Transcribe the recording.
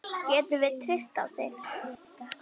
Getum við treyst á þig?